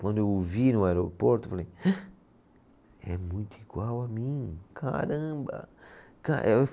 Quando eu o vi no aeroporto, falei Hã, é muito igual a mim, caramba. Ca